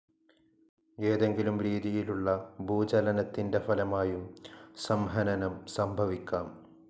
ഏതെങ്കിലും രീതിയിലുള്ള ഭൂചലനത്തിൻ്റെ ഫലമായും സംഹനനം സംഭവിക്കാം.